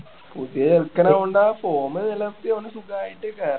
പുതിയ ചെറുക്കൻ ആയോണ്ട് form ചെലുത്തി അവന് സുഖായിട്ട് കേറാം